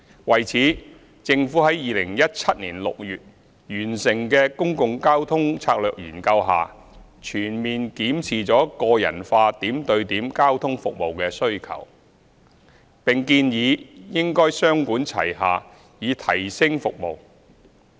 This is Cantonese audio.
為此，政府在2017年6月完成的《公共交通策略研究》下全面檢視了個人化點對點交通服務的需求，並建議應雙管齊下以提升服務。